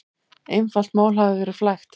Einfalt mál hafi verið flækt.